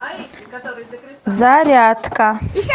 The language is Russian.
зарядка